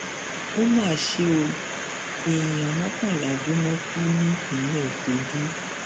ó mà ṣe o èèyàn mọkànlá jóná kú nípínlẹ kogi